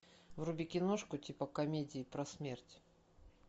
вруби киношку типа комедии про смерть